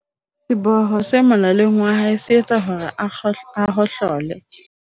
seboho se molaleng wa hae se etsa hore a hohlole